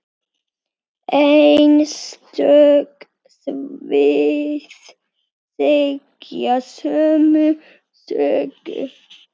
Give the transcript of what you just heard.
Einstök svið segja sömu sögu.